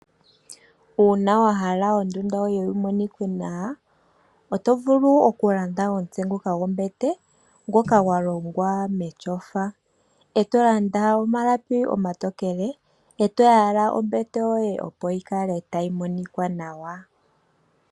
Uuna wa hala oondunda yoye yi monikwe nawa, oto vulu oku ilandela omutse gwombete ngoka gwa longwa metyofa. Eto lada omalapi omatokele, eto landa ombete yoye opo yi kale tayi monikwa nawa.